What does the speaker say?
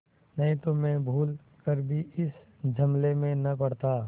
नहीं तो मैं भूल कर भी इस झमेले में न पड़ता